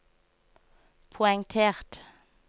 poengtert